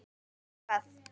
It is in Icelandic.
Nema hvað?